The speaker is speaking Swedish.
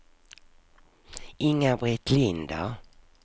Inga-Britt Linder